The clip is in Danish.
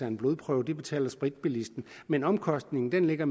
en blodprøve det betaler spritbilisten men omkostningen ligger